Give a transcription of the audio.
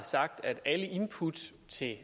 set